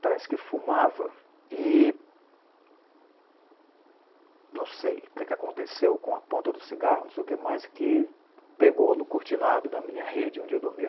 parece que fumava, e... não sei o que aconteceu com a ponta do cigarro, não sei o que mais, que pegou no cortinado da minha rede onde eu dormia.